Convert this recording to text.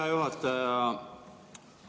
Hea juhataja!